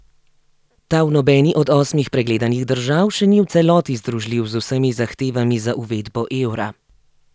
Ta v nobeni od osmih pregledanih držav še ni v celoti združljiv z vsemi zahtevami za uvedbo evra.